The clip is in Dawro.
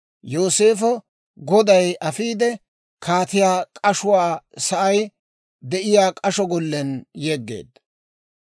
Yooseefa A goday afiide, kaatiyaa k'ashuwaa sa'ay de'iyaa k'asho gollen yeggeedda.